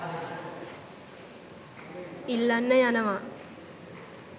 ඉල්ලන්න යනවා